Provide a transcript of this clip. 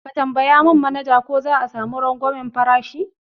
Ka tambaya mun manaja ko za'a sami rangwamen farashi